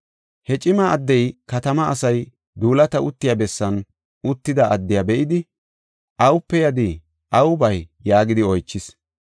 He cima addey, katamaa asay duulata uttiya bessan uttida addiya be7idi, “Awupe yadii? Awu bay?” yaagidi oychis.